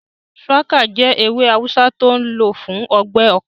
Shùwákà jẹ́ ewé awùsá tó n lò fún ọgbẹ́ ọkàn